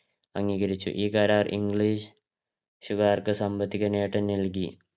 അംഗീകരിച്ച് ഈ കരാർ english ക്കാർക്ക് സാമ്പത്തിക നേട്ടം നൽകി.